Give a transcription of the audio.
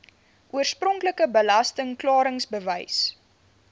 oorspronklike belasting klaringsbewys